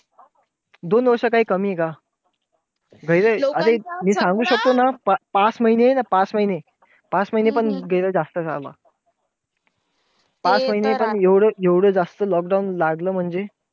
दोन वर्ष काही कमीये का? गैर अरे मी सांगू शकतो ना, पाच महिने ना पाच महिने पाच महिने पण गैर जास्त झाले. पाच महिने पण एवढं जास्त lockdown लागलं म्हणजे.